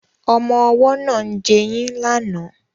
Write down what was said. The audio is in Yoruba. Ọmọ ọwọ́ náà ń jẹyín lánàá